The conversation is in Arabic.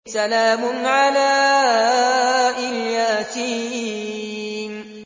سَلَامٌ عَلَىٰ إِلْ يَاسِينَ